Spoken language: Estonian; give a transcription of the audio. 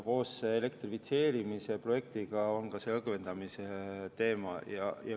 Koos elektrifitseerimise projektiga tehakse ka õgvendamine.